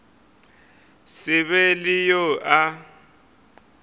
se be le yo a